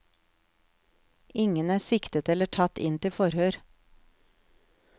Ingen er siktet eller tatt inn til forhør.